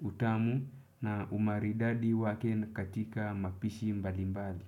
utamu na umaridadi wake katika mapishi mbali mbali.